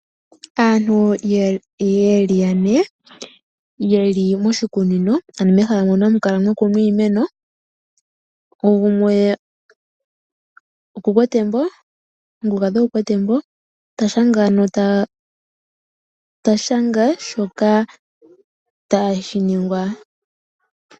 Aantu ye li yane ye li moshikunino, ano mehala moka hamu kala mwa kunwa iimeno, gumwe oku na embo ta shanga shoka tashi ningwa.